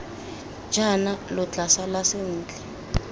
jaana lo tla sala sentle